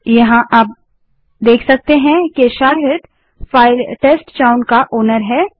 यहाँ हम फाइल के मालिकओनर को देख सकते हैं शाहिद टेस्टचाउन का मालिकओनर है